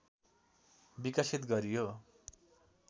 विकसित गरियो